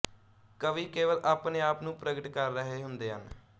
ਕਵੀ ਕੇਵਲ ਆਪਣੇ ਆਪ ਨੂੰ ਪ੍ਰਗਟ ਕਰ ਰਹੇ ਹੁੰਦੇ ਹਨ